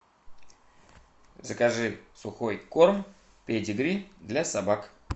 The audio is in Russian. закажи сухой корм педигри для собак